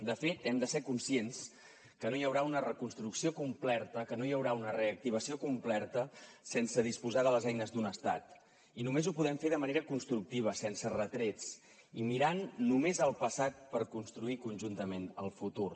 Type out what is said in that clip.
de fet hem de ser conscients que no hi haurà una reconstrucció completa que no hi haurà una reactivació completa sense disposar de les eines d’un estat i només ho podem fer de manera constructiva sense retrets i mirant només el passat per construir conjuntament el futur